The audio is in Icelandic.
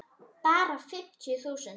Bara fimmtíu þúsund.